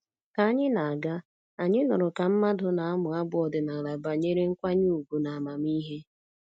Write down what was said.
Ka anyị na-aga, anyị nụrụ ka mmadụ na-amụ abụ ọdịnala banyere nkwanye ùgwù na amamihe